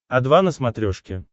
о два на смотрешке